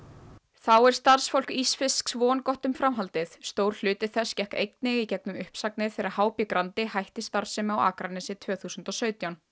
þá er starfsfólk ísfisks vongott um framhaldið stór hluti þess gekk einnig í gegnum uppsagnir þegar h b Grandi hætti starfsemi á Akranesi tvö þúsund og sautján